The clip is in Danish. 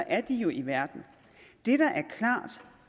er de jo i verden det der